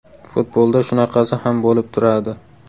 Futbolda shunaqasi ham bo‘lib turadi”.